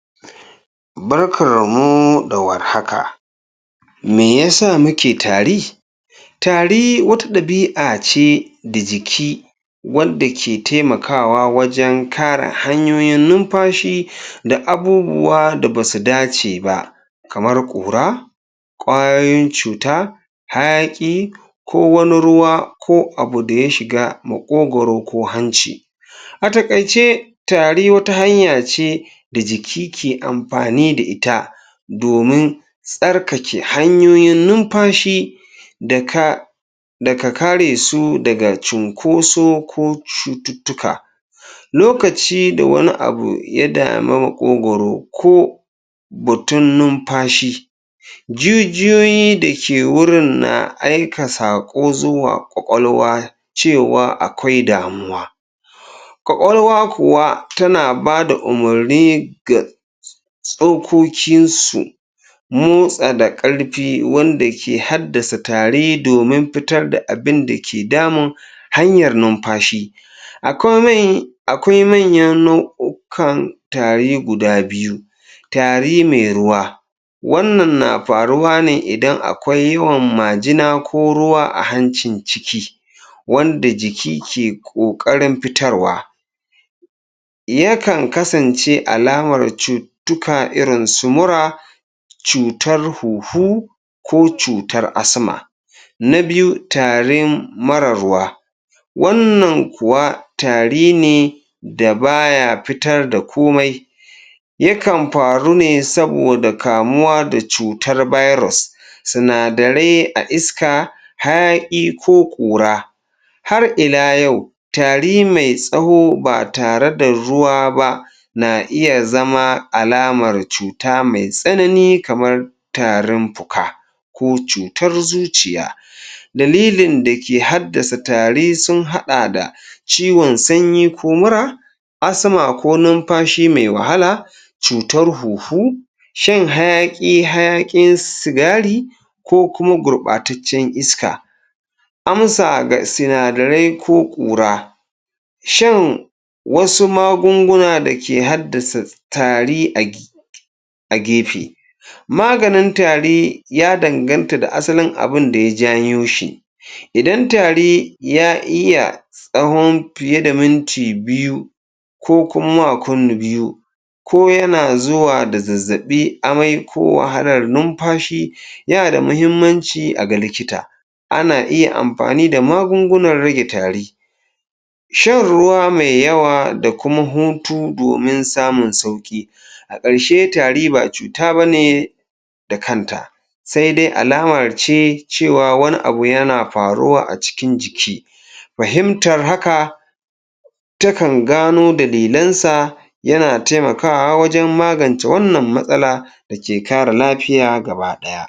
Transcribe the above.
Barkarmu da war haka! Me ya sa muke tari? Tari wata ɗabi'a ce da jiki wadda ke taimakawa wajen kare hanyoyin numfashi da abubuwa da ba su dace ba kamara ƙura ƙwayoyin cuta, hayaƙi ko wani ruwa, ko abu da ya shiga maƙogoro ko hanci A taƙaice tari wata hanya ce da jiki ke amfani da ita domin tsarkake hanyoyin numfashi da ka, daga kare su daga cunkoso ko cututtuka. Lokaci da wani abu ya damu maƙogoro ko batun numfashi jijiyoyi da ke wurin na aika saƙo zuwa ƙwaƙalwa cewa akwai damuwa ƙwaƙwalwa kuwa tana ba da umurni ga tsokokinsu motsa da ƙarfi wanda ke haddasa tari domin fitar da abin da ke damun hanyar numfashi. A komai akwai manyan nau'u'ukan tari guda biyu: tari mai ruwa Wannan na faruwa ne idan akwai yawan majina ko ruwa a hancin ciki wanda jiki ke ƙoƙarin fitarwa Yakan kasance alamar cututtuka irin su mura, cutar huhu ko cutar asma Na biyu, tarin marar ruwa: Wannan kuwa tari ne da ba ya fitar da komai. Yakan faru ne saboda kamuwa da cutar bairos, sinadarai a iska, hayaƙi ko ƙura Har ila yau, tari mai tsaho ba tare da ruwa ba na iya zama alamar cuta mai tsanani kamar tarin fuka, ko cutar zuciya. Dalilin da ke haddasa tari sun haɗa da ciwon sanyi ko mura asma ko numfashi mai wahala, cutar huhu, shan hayaƙi, hayaƙin sigari ko kuma gurɓataccen iska. Amsa ga sinadarai ko ƙura: Shan wasu magunguna da ke haddasa tari a um gefe Maganin tari ya danganta da asalin abin da ya janyo shi. Idan tari ya iya tsahon fiye da minti biyu ko kuma biyu, ko yana zuwa da zazzaɓi, amai ko wahalar numfashi, yana da muhimmanci a ga likita. Ana iya amfani da magungunan rage tari. Shan ruwa mai yawa da kuma hutu domin samun sauƙi A ƙarshe tari ba cuta ba ne da kanta, sai dai alama ce cewa wani abu yana faruwa a cikin jiki Fahimtar haka takan gano dalilansa yana taimakawa wajen magance wannan matsala da ke kare lafiya gaba ɗaya.